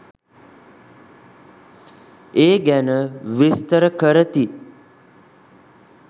ඒ ගැන විස්තර කරති.